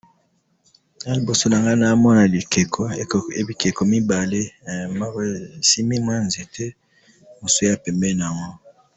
awa libosonanga naomona bikeko mibale moko esimbi nzete mususu eza pembeni nango